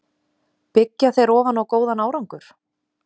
Byggja þeir ofan á góðan árangur?